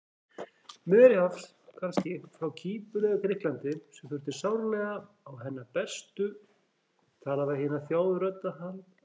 Miðjarðarhafs kannski, frá Kýpur eða Grikklandi, sem þyrfti sárlega á hennar bestu tala-við-hina-þjáðu-rödd að halda.